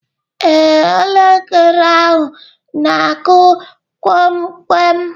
Ee, elekere ahụ na-akụ kpọm kwem